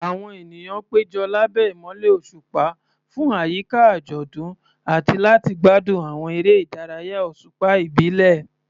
Àwọn ènìyàn péjọ lábẹ́ ìmọ́lẹ̀ òṣùpá fún àyíká àjọ̀dún àti láti gbádùn àwọn eré ìdárayá òṣùpá ìbílẹ̀.